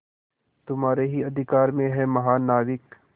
तुम्हारे ही अधिकार में है महानाविक